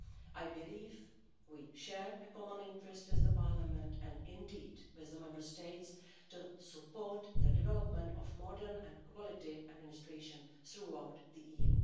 I believe we share a common interest with Parliament and, indeed, with the Member States to support the development of modern and quality administration throughout the EU.